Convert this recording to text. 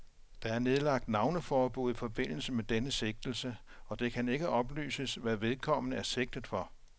Der er nedlagt navneforbud i forbindelse med denne sigtelse, og det kan ikke oplyses, hvad vedkommende er sigtet for.